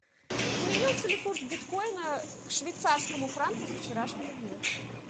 изменился ли курс биткоина к швейцарскому франку со вчерашнего дня